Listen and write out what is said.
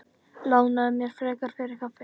Lánaðu mér frekar fyrir kaffi.